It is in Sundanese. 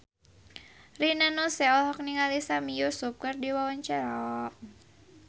Rina Nose olohok ningali Sami Yusuf keur diwawancara